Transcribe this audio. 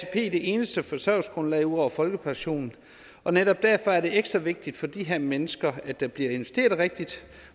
det eneste forsørgelsesgrundlag ud over folkepensionen og netop derfor er det ekstra vigtigt for de her mennesker at der bliver investeret rigtigt